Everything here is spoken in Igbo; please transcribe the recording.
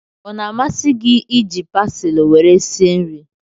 Ọ na-amasị gị iji pasili were sie nri?